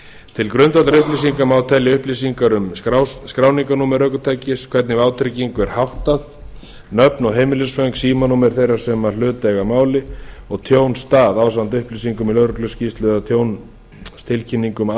til grundvallarupplýsinga má telja upplýsingar um skráningarnúmer ökutækis hvernig vátryggingu er háttað nöfn og heimilisföng símanúmer þeirra sem hlut eiga að máli og tjónsstað ásamt upplýsingum í lögregluskýrslu eða tjónstilkynningu um